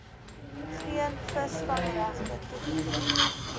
geen visvangregte toegeken